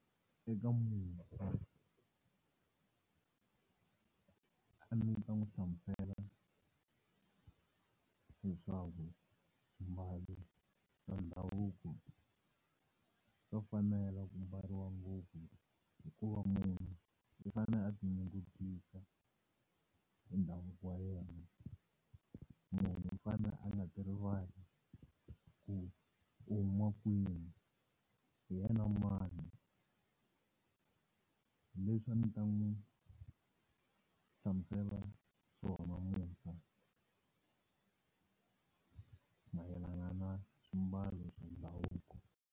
Eka a ni ta n'wi hlamusela leswaku swimbalu swa ndhavuko swa fanela ku mbariwa ngopfu hikuva munhu i fanele a ti nyungubyisa hi ndhavuko wa yena munhu u fanele a nga ti rivali ku u huma kwihi, hi yena mani hi leswi a ndzi ta n'wi hlamusela swona mayelana na swimbalo swa ndhavuko.